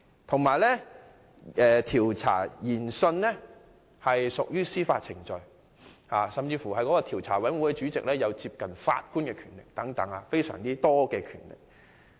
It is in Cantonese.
此外，這項調查研訊屬於司法程序，調查委員會主席甚至擁有接近法官的重大權力。